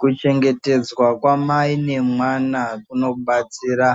Kuchengetedzwa kwamai nemwana kunobatsira